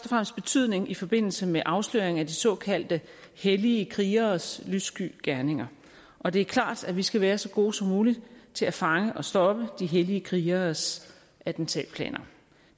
fremmest betydning i forbindelse med afsløring af de såkaldte hellige krigeres lyssky gerninger og det er klart at vi skal være så gode som muligt til at fange og stoppe de hellige krigeres attentatplaner